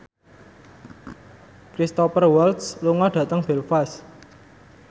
Cristhoper Waltz lunga dhateng Belfast